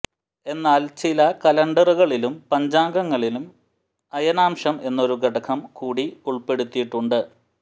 എന്നാൽ ചില കലണ്ടറുകളിലും പഞ്ചാംഗങ്ങളിലും അയനാംശം എന്നൊരു ഘടകം കൂടി ഉൾപ്പെടുത്തിയിട്ടുണ്ടു്